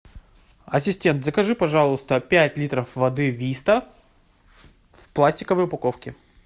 ассистент закажи пожалуйста пять литров воды виста в пластиковой упаковке